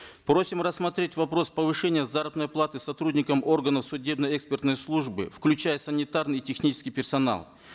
просим рассмотреть вопрос повышения заработной платы сотрудникам органов судебно экспертной службы включая санитарный и технический персонал